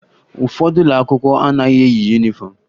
Ụfọdụ ụlọ akwụkwọ anaghị eyi yunifọmụ